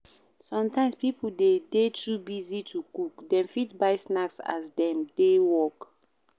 Sometimes pipo de dey too busy to cook, dem fit buy snacks as dem dey work